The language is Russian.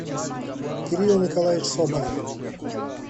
кирилл николаевич соболев